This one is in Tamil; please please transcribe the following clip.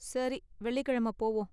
சரி வெள்ளிக்கிழமை போவோம்.